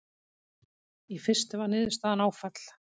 Í fyrstu var niðurstaðan áfall.